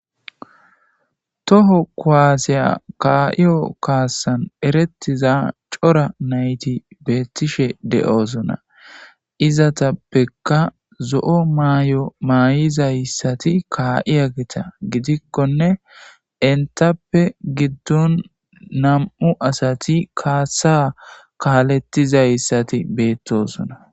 toho kuwaasiya kaa'iyo kaassan eretiza cora nayti beettishe de7osona izatappekka zo7o maay7o maay7izayssati kaa7iya gita gidikkone intappe giddon nam7u asati kaassa kaalettizayssati beettosona